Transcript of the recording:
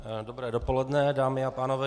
Dobré dopoledne, dámy a pánové.